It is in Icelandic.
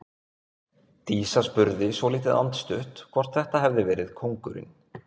Dísa spurði svolítið andstutt hvort þetta hefði verið kóngurinn.